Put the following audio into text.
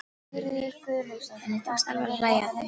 Henni tókst alveg að hlæja að því.